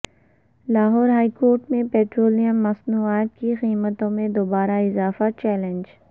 Lahore high court میں petroleum مصنوعات کی قیمتوں میں دوبارہ اضافہ چیلنج